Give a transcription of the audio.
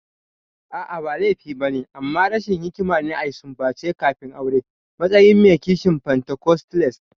A'a, ba laifi ba ne, amma rashin hikima ne a sumbance kafin aure a matsayin mai kishin pentacostalist.